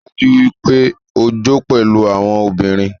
Rii daju pe o jo pẹlu awọn obinrin